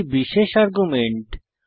একটি বিশেষ আর্গুমেন্ট